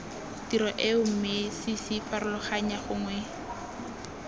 tiro eo mme ccfarologanya gongwe